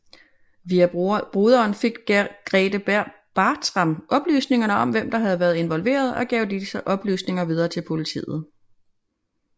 Via broderen fik Grethe Bartram oplysninger om hvem der havde været involveret og gav disse oplysninger videre til politiet